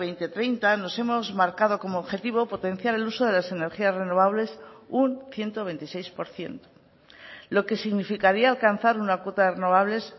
dos mil treinta nos hemos marcado como objetivo potenciar el uso de las energías renovables un ciento veintiséis por ciento lo que significaría alcanzar una cuota de renovables